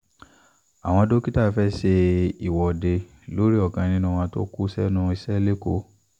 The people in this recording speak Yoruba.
awọn dokita fẹ ṣe iwọde lori ọkan ninu wọn to ku sẹnu isẹ leko